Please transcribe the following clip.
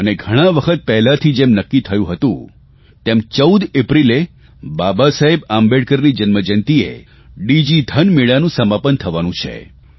અને ઘણા વખત પહેલેથી જેમ નક્કી થયું હતું તેમ 14 એપ્રિલે બાબાસાહેબ આંબેડકરની જન્મજયંતિએ ડીજીધન મેળાનું સમાપન થવાનું છે